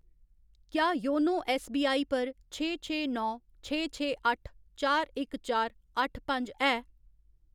क्या YONO SBI पर छे छे नौ छे छे अट्ठ चार इक चार अट्ठ पंज है?